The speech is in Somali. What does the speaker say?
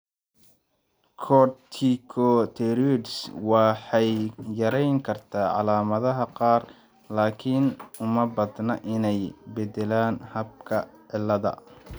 Corticosteroids waxay yareyn kartaa calaamadaha qaar, laakiin uma badna inay beddelaan habka cilladda.